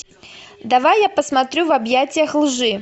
давай я посмотрю в объятиях лжи